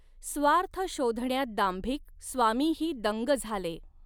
स्वार्थ शोधण्यात दांभिक, स्वामीही दंग झाले